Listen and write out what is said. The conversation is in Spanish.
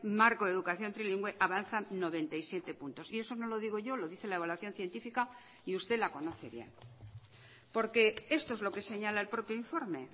marco de educación trilingüe avanzan noventa y siete puntos y eso no lo digo yo lo dice la evaluación científica y usted la conoce bien porque esto es lo que señala el propio informe